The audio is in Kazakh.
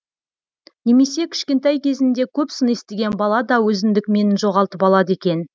немесе кішкентай кезінде көп сын естіген бала да өзіндік менін жоғалтып алады екен